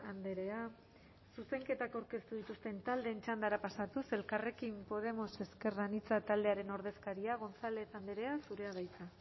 andrea zuzenketak aurkeztu dituzten taldeen txandara pasatuz elkarrekin podemos ezker anitza taldearen ordezkaria gonzález andrea zurea da hitza